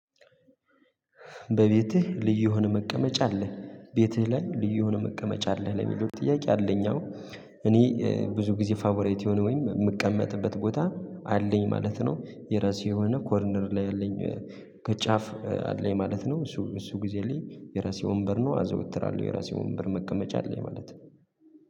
በቤትህ ልዩ የሆነ መቀመጫ አለ ቤትህ ላይ ልዩ የሆነ መቀመጫ አለ ለሚሉት ጥያቄ አለኝ። አዎ እኔ ብዙ ጊዜ ፋብራይት የሆነ ወይም የምቀመጥበት ቦታ አለኝ ማለት ነው። የራሴ የሆነ ኮርነር ላይ ያለኝ ከጫፍ አለኝ ማለት ነው። እሱ እሱ ጊዜ አለኝ የራሴ ወንበር ነው አዘወትራለሁ የራሴ ወንበር መቀመጫ አለኝ ማለት ነው